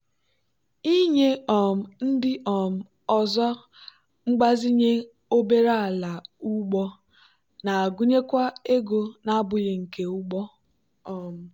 ịnye um ndị um ọzọ mgbazinye obere ala ugbo na-agụnyekwa ego na-abụghị nke ugbo. um